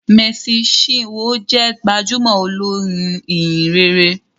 Mercy chinwo jé gbajúmò olorin ìhìnrere